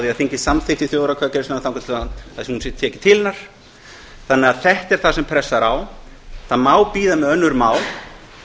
að þingið samþykkir þjóðaratkvæðagreiðsluna þangað til hún er tekin til hennar þetta er það sem pressar á það má bíða með önnur mál